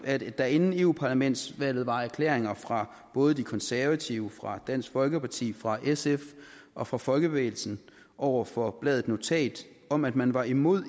at der inden europaparlamentsvalget var erklæringer fra både de konservative fra dansk folkeparti fra sf og fra folkebevægelsen over for bladet notat om at man var imod